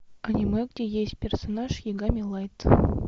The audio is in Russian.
аниме где есть персонаж ягами лайт